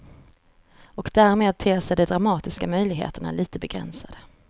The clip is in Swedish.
Och därmed ter sig de dramatiska möjligheterna lite begränsade.